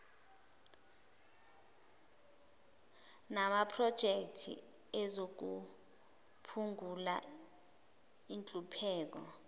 namaprojekthi ezokuphungula inhlupheko